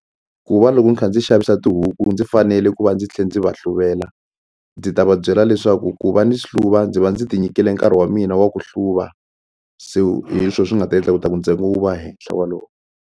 Ku va loko ni kha ndzi xavisa tihuku ndzi fanele ku va ndzi tlhe ndzi va hluvela ndzi ta va byela leswaku ku va ni hluva ndzi va ndzi tinyikile nkarhi wa mina wa ku hluva so hi swo swi nga ta endla ku ta ku ntsengo wu va hehla .